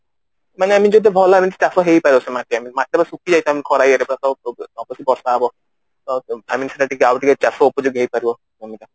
ମାନେ ଭଲ ଭାବେ ଚାଷ ହେଇ ପାରିବ ସେଇ ମାଟି ମାଟି ପୁରା ଶୁଖି ଯାଇଥାଏ ଖରା ଇଏ ରେ ଟା ବର୍ଷା ହବ ତ ଚାଷ ଉପଯୋଗୀ ହେଇ ପାରିବ